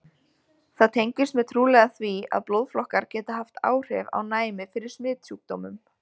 Það tengist mjög trúlega því, að blóðflokkar geta haft áhrif á næmi fyrir smitsjúkdómum.